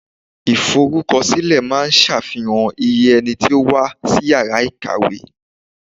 Iforukosile máa ń safihan iye ẹni tó wà ní Ìyàrá kàwé.